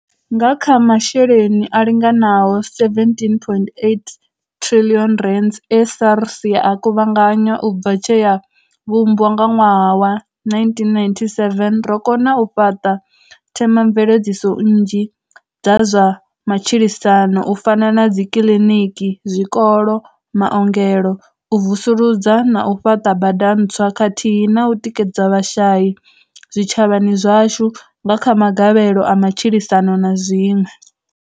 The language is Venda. Nga kha masheleni a linganaho R17.8 triḽioni e SARS ya a kuvhanganya u bva tshe ya vhumbwa nga ṅwaha wa 1997, ro no kona u fhaṱa themamveledziso nnzhi dza zwa matshilisano u fana na dzi kiḽiniki, zwikolo, maongelo, u vusuludza na u fhaṱa bada ntswa khathihi na u tikedza vhashai zwi tshavhani zwashu nga kha magavhelo a matshilisano na zwiṅwe.